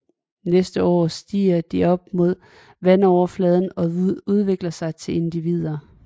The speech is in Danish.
Næste forår stiger de op mod vandoverfladen og udvikler sig til nye individer